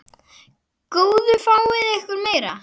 Góðu fáið ykkur meira.